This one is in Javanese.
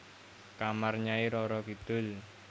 Kamar Nyai Roro Kidul